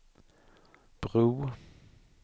bro